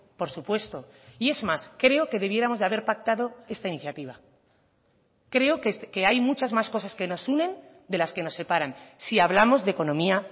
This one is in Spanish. por supuesto y es más creo que debiéramos de haber pactado esta iniciativa creo que hay muchas más cosas que nos unen de las que nos separan si hablamos de economía